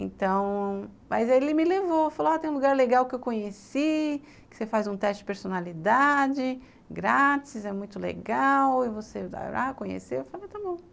Então, mas ele me levou, falou, tem um lugar legal que eu conheci, que você faz um teste de personalidade grátis, é muito legal e você vai lá conhecer, eu falei, está bom.